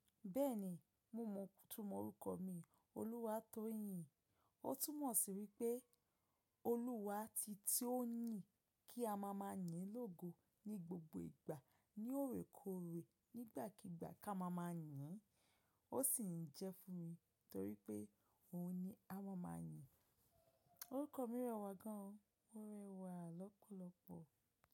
Bẹ́ẹ̀ni, mo mọ òótọ́ orúkọ mi, Olúwatóyìn. Ó túmọ̀ sí wípé Olúwa ti tí ó ń yìn kí a máa máa yín lógo ní gbogbo ìgbà ní òrèkòrè nígbàkígbà ká máa máa yìn. Ó sì ń jẹ́ fún mi torí pé òun ni a máa máa yìn. Orúkọ mi rẹwà gan, ó rẹwà lọ́pọ̀lọpọ̀.